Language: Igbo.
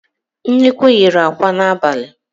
Nnekwu yiri àkwá n'abalị